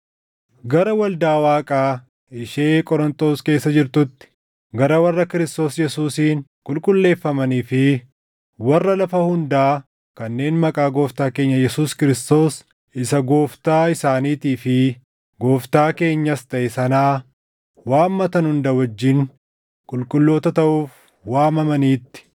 Gara waldaa Waaqaa ishee Qorontos keessa jirtuutti, gara warra Kiristoos Yesuusiin qulqulleeffamanii fi warra lafa hundaa kanneen maqaa Gooftaa keenya Yesuus Kiristoos isa Gooftaa isaaniitii fi Gooftaa keenyas taʼe sanaa waammatan hunda wajjin qulqulloota taʼuuf waamamaniitti: